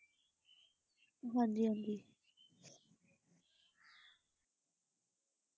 ਹਾਂਜੀ ਹਾਂਜੀ ।